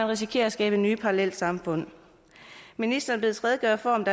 risikere at skabe nye parallelsamfund ministeren bedes redegøre for om